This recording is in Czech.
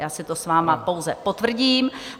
Já si to s vámi pouze potvrdím.